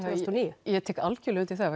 og níu ég tek algerlega undir það